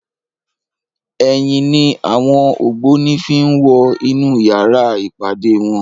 Èyin ni áwòn ógbóni fi n wò inú yàrá ipádé wòn